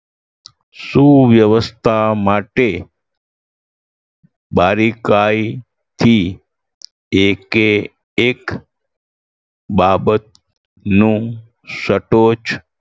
સુવ્યવસ્થા માટે બારીકાઈથી એકે એક બાબતનું સટોચ